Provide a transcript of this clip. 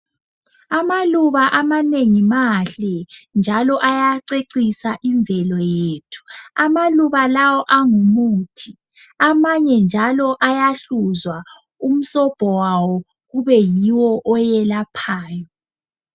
Amaluba amanengi mahle, njalo ayacecisa imvelo yethu. Amaluba lawo angumuthi. Amanye njalo ayahluzwa umsobho wawo ube yiwo oyelaphayo.